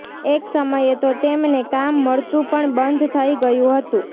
એક સમયે તો તેમને કામ મળતું પણ બંધ થઇ ગયું હતું